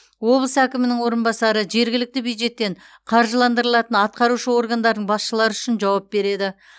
облыс әкімінің орынбасары жергілікті бюджеттен қаржыландырылатын атқарушы органдардың басшылары үшін жауап береді